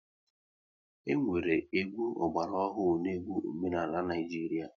E nwere egwu ọgbara ọhụrụ na egwu omenala n'Naijiria